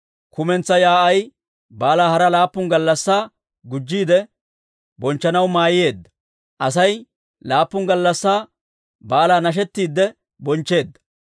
Kumentsaa yaa'ay baalaa hara laappun gallassaa gujjiide bonchchanaw mayyeedda; Asay laappun gallassi baalaa nashettidde bonchcheedda.